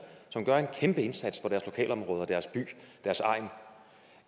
som gør en kæmpeindsats for deres lokalområde deres by og deres egn